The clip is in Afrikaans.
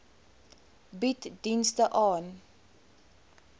bied dienste ten